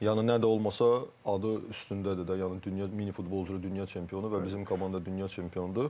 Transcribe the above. Yəni nə də olsa adı üstündədir də, yəni dünya, mini futbol üzrə dünya çempionu və bizim komanda dünya çempionudur.